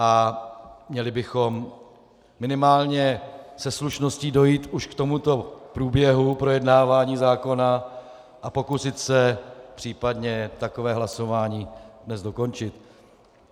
A měli bychom minimálně se slušností dojít už k tomuto průběhu projednávání zákona a pokusit se případně takové hlasování dnes dokončit.